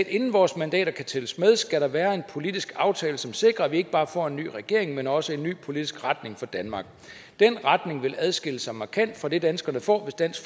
inden vores mandater kan tælles med skal der være en politisk aftale som sikrer at vi ikke bare får en ny regering men også får en ny politisk retning for danmark den retning vil adskille sig markant fra det danskerne får hvis dansk